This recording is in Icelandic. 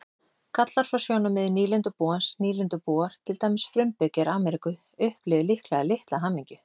Gallar frá sjónarmiði nýlendubúans Nýlendubúar, til dæmis frumbyggjar Ameríku, upplifðu líklega litla hamingju.